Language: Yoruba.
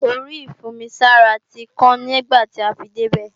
Orí ìfún-omi-sára tí kàn nígbàtí a fi débè